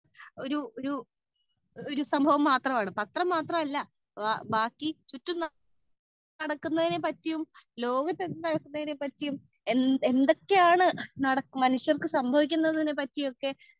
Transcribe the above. speaker 2 പത്രം എന്ന് പറയുന്നത് ഒരു സംഭവം മാത്രമാണ് പത്രം മാത്രമല്ല ചുറ്റും നടക്കുന്നതിനെ പറ്റിയും ലോകത്തു നടക്കുന്നതിനെ പറ്റിയും എന്തൊക്കെയാണ് മനുഷ്യർക്കെ സംഭവിക്കുന്നത് ഒക്കെ